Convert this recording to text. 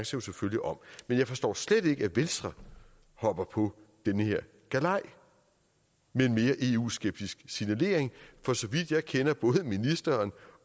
selvfølgelig om men jeg forstår slet ikke at venstre hopper på den her galej med en mere eu skeptisk signalering for så vidt jeg kender både ministeren